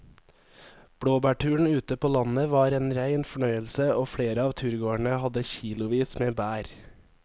Blåbærturen ute på landet var en rein fornøyelse og flere av turgåerene hadde kilosvis med bær.